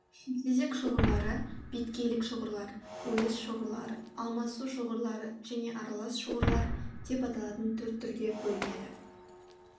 шымтезек шоғырлары беткейлік шоғырлар ойыс шоғырлары алмасу шоғырлары және аралас шоғырлар деп аталатын төрт түрге бөлінеді